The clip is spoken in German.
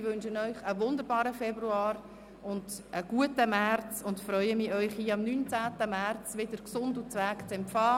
Ich wünsche Ihnen einen wunderbaren Februar, einen guten März und freue mich, Sie am 19. März wieder gesund und munter zu empfangen.